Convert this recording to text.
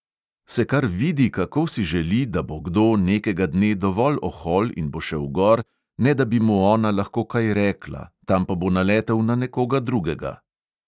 Se kar vidi, kako si želi, da bo kdo nekega dne dovolj ohol in bo šel gor, ne da bi mu ona lahko kaj rekla, tam pa bo naletel na nekoga drugega.